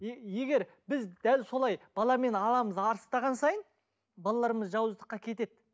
и егер біз дәл солай баламен аламыз арыстаған сайын балаларымыз жауызсыздыққа кетеді